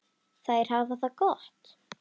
Þær hafa það gott.